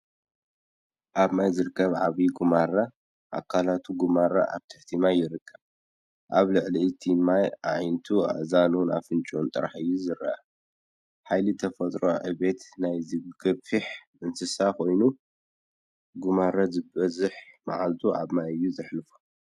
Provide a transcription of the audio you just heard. ኣብ ማይ ዝርከብ ዓብይ ጉማረ፣ ኣካላቱ ጉማረ ኣብ ትሕቲ ማይ ይርከብ፣ ኣብ ልዕሊ እቲ ማይ ኣዒንቱን እዝኑን ኣፍንጫኡን ጥራይ እዩ ዚርአ። ሓይሊ ተፈጥሮን ዕቤት ናይዚ ገዚፍ እንስሳን ኾይኑ፣ ጉማረ ዝበዝሕ መዓልቶም ኣብ ማይ እዮም ዘሕልፍዎ።